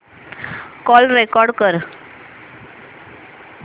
call record कर